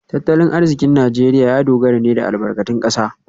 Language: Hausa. Tattalin arzikin Najeriya ya dogara ne da albarkatun kasa